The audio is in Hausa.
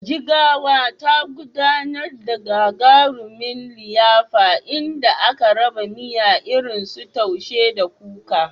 Jigawa, ta gudanar da gagarumin liyafa inda aka raba miya irinsu Taushe da Kuka.